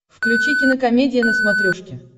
включи кинокомедия на смотрешке